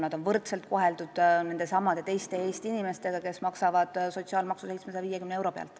Neid koheldakse võrdselt nendesamade teiste Eesti inimestega, kes maksavad sotsiaalmaksu 750 euro pealt.